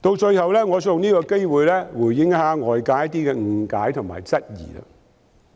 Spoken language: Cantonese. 最後，我想藉此機會回應外界的一些誤解及質疑。